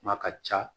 Kuma ka ca